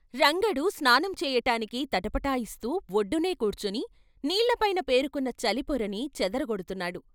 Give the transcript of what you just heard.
రంగడు స్నానం చేయటానికి తటపటాయిస్తూ వొడ్డునే కూర్చుని నీళ్ళ పైన పేరుకున్న చలి పొరని చెదర గొడ్తున్నాడు.